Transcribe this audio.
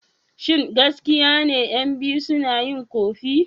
Shin gaskiya ne ƴan biyu suna yin ƙofi?